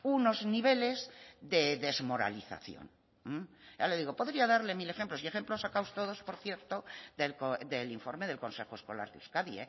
unos niveles de desmoralización ya le digo podría darle mil ejemplos y ejemplos sacados todos por cierto del informe del consejo escolar de euskadi